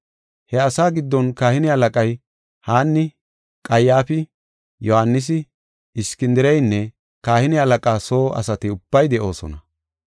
He asa giddon kahine halaqay Haanni, Qayyaafi, Yohaanisi, Iskindireynne kahine halaqaa soo asati ubbay de7oosona.